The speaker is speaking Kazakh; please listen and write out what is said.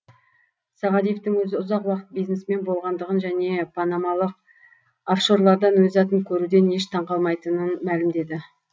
сағадиевтің өзі ұзақ уақыт бизнесмен болғандығын және панамалық офшорлардан өз атын көруден еш таңқалмайтынын мәлімдеді